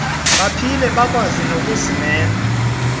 baphile bekwazi nokuzimela